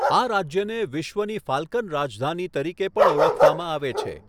આ રાજ્યને 'વિશ્વની ફાલ્કન રાજધાની' તરીકે પણ ઓળખવામાં આવે છે.